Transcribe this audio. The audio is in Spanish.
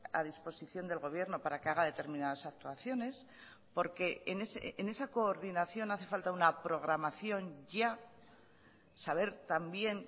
a disposición del gobierno para que haga determinadas actuaciones porque en esa coordinación hace falta una programación ya saber también